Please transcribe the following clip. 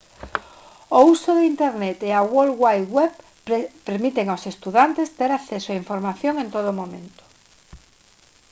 o uso de internet e a world wide web permiten aos estudantes ter acceso á información en todo momento